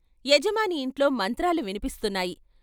యజమాని ఇంట్లో మంత్రాలు వినిపిస్తున్నాయి.